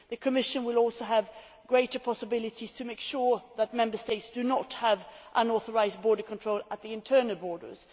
The Commission will also have greater possibilities to make sure that Member States do not have unauthorised border controls at the internal borders.